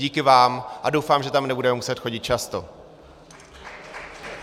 Díky vám a doufám, že tam nebudeme muset chodit často.